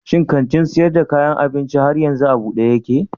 Shi kantin sayar da kayan abincin har yanzu a buɗe yake?